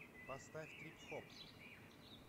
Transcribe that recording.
поставь трип хоп